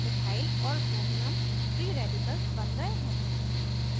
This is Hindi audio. methyl ch3 और bromium br free radicals बन गए हैं